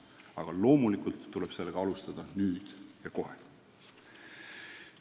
Aga loomulikult tuleb sellega alustada nüüd ja kohe.